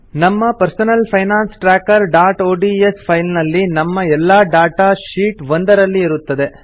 ನಮ್ಮ personal finance trackerಒಡಿಎಸ್ file ನಲ್ಲಿ ನಮ್ಮ ಎಲ್ಲಾ ಡಾಟಾ ಶೀಟ್ 1 ನಲ್ಲಿ ಇರುತ್ತದೆ